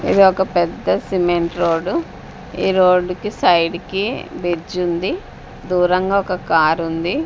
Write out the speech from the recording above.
ఇది ఒక పెద్ద సిమెంట్ రోడ్డు ఈ రోడ్డుకి సైడ్ కి బిర్జ్ ఉంది దూరంగా ఒక కారు ఉంది.